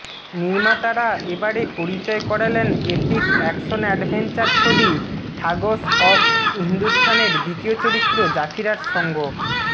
নির্মাতারা এবারে পরিচয় করালেন এপিক অ্যাকশন অ্যাডভেঅঞ্চার ছবি ঠাগস অব হিন্দুস্থানের দ্বিতীয় চরিত্র জাফিরার সঙ্গ